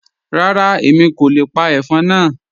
Rárá, Èmi kò le pa ẹ̀fọ́n náà.